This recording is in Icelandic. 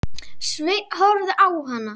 Sveinn horfði á hana.